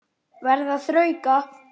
Verð að þrauka.